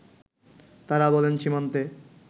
তারা বলেন সীমান্তে